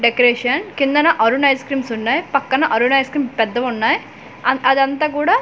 decoration కిందన Arun ice creams ఉన్నాయి పక్కన అరుణ్ ఐస్ క్రీమ్ పెద్దవి ఉన్నాయి ఆన్-- అది అంతా కూడ ఓ--